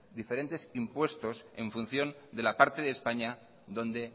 diferentes impuestos en función de la parte de españa donde